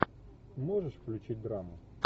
можешь включить драму